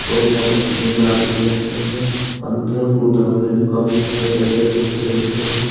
और यहां पर तीन आदमी बैठे हैं अंदर गुदाम में भी काफी सारे बेडे गद्दे रखें हैं।